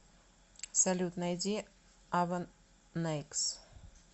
салют найди авенэйкс